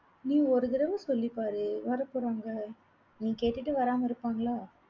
நீ ஒரு தடவ சொல்லிப்பாரு வரப்போறாங்க. நீ கேட்டுட்டு வராம இருப்பாங்களா?